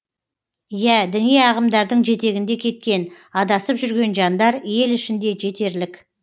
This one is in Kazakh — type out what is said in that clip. иә діни ағымдардың жетегінде кеткен адасып жүрген жандар ел ішінде жетерлік